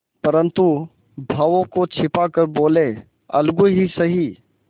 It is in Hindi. परंतु भावों को छिपा कर बोलेअलगू ही सही